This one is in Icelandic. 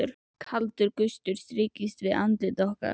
Kaldur gustur strýkst við andlit okkar.